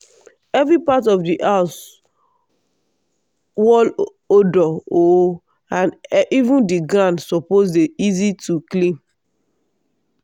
every part of di house_ wall odoor o and even di ground suppose dey easy to clean.